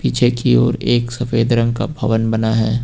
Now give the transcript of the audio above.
पीछे की ओर एक सफेद रंग का भवन बना है।